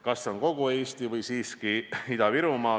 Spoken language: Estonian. Kas see on kogu Eesti või siiski Ida-Virumaa?